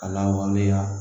A lawaleya